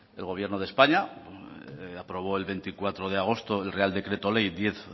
el gobierno de españa aprobó el veinticuatro de agosto el real decreto ley diez